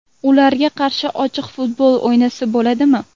Ularga qarshi ochiq futbol o‘ynasa bo‘ladimi?